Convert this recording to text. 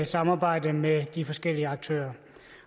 samarbejde med de forskellige aktører